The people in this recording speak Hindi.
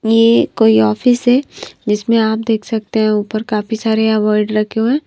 ये कोई ऑफिस हैजिसमें आप देख सकते हैं ऊपर काफी सारे यह अवार्ड रखे हुए हैं।